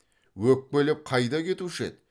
өкпелеп қайда кетуші еді